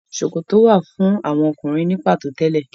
Sòkòtò wà fún àwọn Ọkùnrin ní pàtó tẹ́lẹ̀.